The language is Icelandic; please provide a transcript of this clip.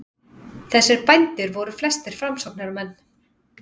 Þessir bændur voru flestir framsóknarmenn.